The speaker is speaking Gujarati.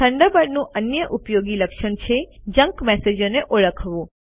થન્ડરબર્ડનું અન્ય ઉપયોગી લક્ષણ છે જંક મેસેજોને ઓળખવું